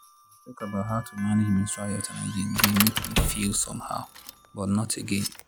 to dey talk about how to manage menstrual health and hygiene dey make me feel somehow but not again